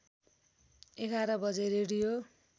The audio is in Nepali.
११ बजे रेडियो